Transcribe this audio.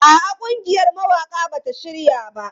A'a, ƙungiyar mawaƙa ba ta shirya ba.